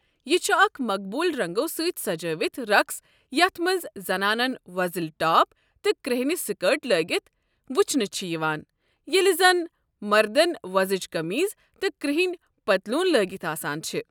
یہِ چھُ اکھ مقبوٗل رنٛگو سۭتۍ سجٲوِتھ رقس یتھ مَنٛز زنانن وۄزٕلۍ ٹاپ تہٕ کٔرٛہٕنہِ سکٲرٹ لٲگِتھ وٕچھنہٕ چھِ یِوان، ییٚلہِ زَن مردن ووزٕج قٔمیٖض تہٕ کرٛہٕنہِ پتلوٗن لٲگِتھ آسان چھِ۔